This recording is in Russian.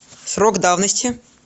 срок давности